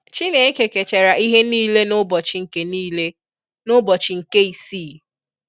Chineke kechara ihe nile n'ụbọchi nke nile n'ụbọchi nke ịsii